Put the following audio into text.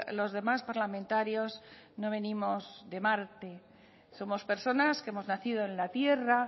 los demás parlamentarios no venimos de marte somos personas que hemos nacido en la tierra